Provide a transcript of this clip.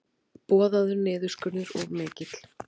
Boðaður niðurskurður of mikill